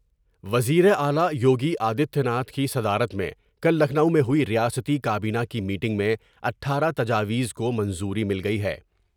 وزیر اعلی یوگی آدتیہ ناتھ کی صدارت میں کل لکھنو میں ہوئی ریاستی کا بینہ کی میٹنگ میں اٹھارہ تجاویز کو منظوری مل گئی ہے ۔